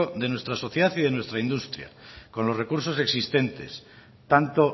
de nuestra sociedad y de nuestra industria con los recursos existentes tanto